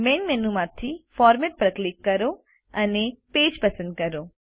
main menu માંથીFormat પર click કરો અને પેજ પસંદ કરો